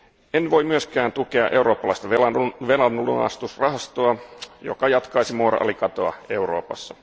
En voi myöskään tukea eurooppalaista velanlunastusrahastoa, joka jatkaisi moraalikatoa Euroopassa.